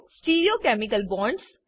stereochemical bonds